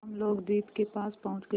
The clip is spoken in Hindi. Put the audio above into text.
हम लोग द्वीप के पास पहुँच गए